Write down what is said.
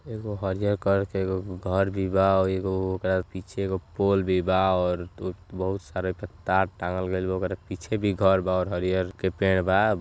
एगो हरियर कलर के एगो ग् घर भी बा और एगो ओकर पीछे एगो पोल भी बा और तु-त्-बहुत सारा ओहिप तार टांगल गइल बा। ओकरा पीछे भी घर बा और हरियर के पेड़ बा।